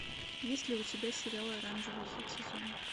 есть ли у тебя сериал оранжевый хит сезона